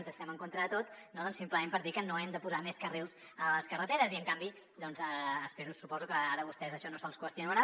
que estem en contra de tot no simplement per dir que no hem de posar més carrils a les carreteres i en canvi suposo que ara a vostès això no se’ls qüestionarà